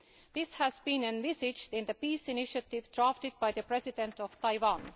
This has been envisaged in the peace initiative drafted by the President of Taiwan.